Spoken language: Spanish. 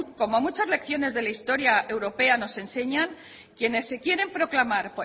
como muchas lecciones de la historia europea nos enseñan quienes se quieren proclamar